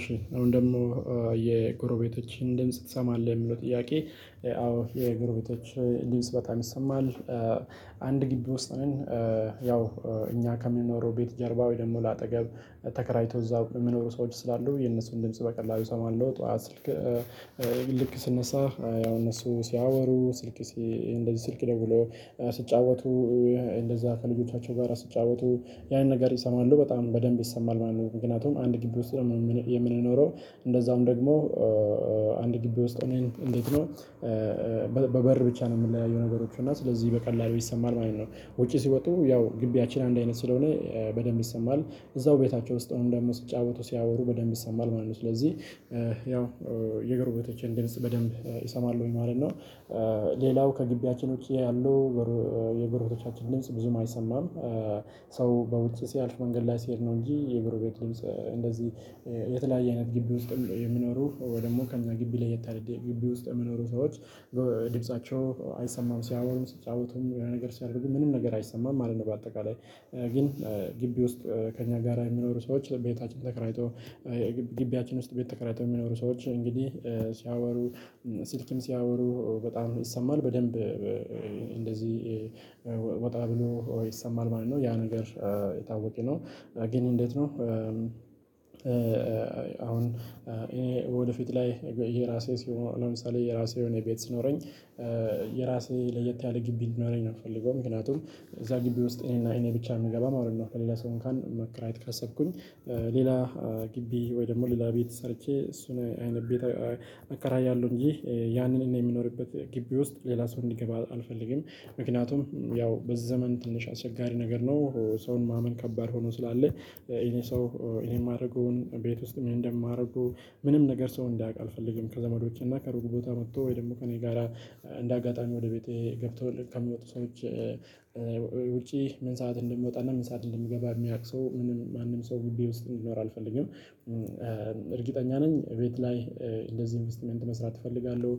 እሺ አሁን ደግሞ የጎረቤቶችህን ድምጽ ትሰማለህ? ለሚለው ጥያቄ አዎ የጎረቤቶች ድምጽ በጣም ይሰማል አንድ ግቢ ወስጥ ነን። ያው እኛ ከምንኖረው ቤት ጀርባ ወይ ደግሞ ለአጠገብ ተከራይቶ እዛው የሚኖሩ ሰዎች ስላሉ የእነሱን ድምጽ በቀላሉ እሰማለሁ ጠዋት ስልክ ልክ ስነሳ ያው እነሱ ሲያወሩ ስልክ እንደዚህ ስልክ ደውሎ ሲጫወቱ እንደዛ ከልጆቻቸው ጋር ሲጫወቱ ያን ነገር ይሰማሉ በጣም በደንብ ይሰማል ማለት ነው። ምክንያቱም አንድ ግቢ ውስጥ ነው የምንኖረው እንደዛም ደግሞ አንድ ግቢ ውስጥ ሆነን እንዴት ነው? በበር ብቻ ነው የምንለያየው ነገሮቹ እና ስለዚህ በቀላሉ ይሰማል ማለት ነው። ውጪ ሲወጡ ያው ግቢያችን አንድ አይነት ስለሆነ በደንብ ይሰማል እዛው ቤታቸው ውስጥ ሆነውም ደግሞ ሲጫወቱ ሲያወሩ በደንብ ይሰማል ማለት ነው። ስለዚህ ያው የጎረቤቶቼን ድምጽ በደንብ እሰማለሁኝ ማለት ነው። ሌላው ከግቢያችን ውጪ ያሉ የጎረቤቶቻችን ድምጽ ብዙም አይሰማም። ሰው በውጭ ሲያልፍ መንገድ ላይ ሲሄድ ነው እንጂ የጎረቤት ድምጽ እንደዚህ የተለያየ አይነት ግቢ ውስጥም የሚኖሩ ወይ ደግሞ ከእኛ ግቢ ለየት ያለ ግቢ ውስጥ የሚኖሩ ሰዎች ድምፃቸው አይሰማም ሲያወሩም ሲጫወቱም የሆነ ነገር ሲያደርጉም ምንም ነገር አይሰማም ማለት ነው። በአጠቃላይ ግን ግቢ ውስጥ ከእኛ ጋራ የሚኖሩ ሰዎች ቤታችን ተከራይቶ ግቢያችን ውስጥ ቤት ተከራይተው የሚኖሩ ሰዎች እንግዲህ ሲያወሩ ስልክም ሲያወሩ በጣም ይሰማል በደንብ እንደዚህ ወጣ ብሎ ይሰማል ማለት ነው ያ ነገር የታወቀ ነው። ግን እንዴት ነው? አሁን እኔ ወደፊት ላይ የራሴ ሲሆን ለምሳሌ የራሴ የሆነ ቤት ሲኖረኝ የራሴ ለየት ያለ ግቢ እንዲኖረኝ ነው የምፈልገው ምክንያቱም እዛ ግቢ ውስጥ እኔና እኔ ብቻ ነው የምገባው ማለት ነው። ለሌላ ሰው እንኳን መከራየት ካሰብኩኝ ሌላ ግቢ ወይ ደግሞ ሌላ ቤት ሰርቼ እሱን አይነት ቤት አከራያለሁ እንጂ ያንን እኔ የምኖርበት ግቢ ውስጥ ሌላ ሰው እንዲገባ አልፈልግም። ምክንያቱም ያው በዚህ በዘመን ትንሽ አስቸጋሪ ነገር ነው። ሰውን ማመን ከባድ ሆኖ ስላለ ይሄ ሰው እኔ የማደርገውን ቤት ውስጥ ምን እንደማደርገው ምንም ነገር ሰው እንዳያውቅ አልፈልግም ከዘመዶቼና ከሩቅ ቦታ መጥቶ ወይ ደግሞ ከእኔ ጋራ እንደ አጋጣሚ ወደ ቤቴ ገብተው ከሚወጡ ሰዎች ውጪ ምን ሰዓት እንደምወጣና ምን ሰዓት እንደምገባ የሚያውቅ ሰው ምንም ማንም ሰው ግቢ ውስጥ እንዲኖር አልፈልግም። እርግጠኛ ነኝ ቤት ላይ እንደዚህ ኢንቨስትመንት መስራት እፈልጋለሁ።